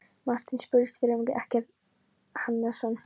Marteinn spurðist fyrir um Eggert Hannesson.